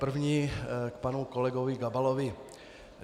První k panu kolegovi Gabalovi.